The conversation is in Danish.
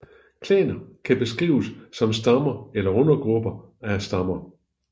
Klaner kan beskrives som stammer eller undergrupper af stammer